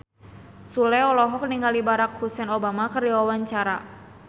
Sule olohok ningali Barack Hussein Obama keur diwawancara